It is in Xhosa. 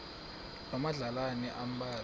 loo madlalana ambalwa